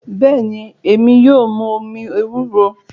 Bẹ́ẹ̀ ni, èmi yóò mu omi ewúro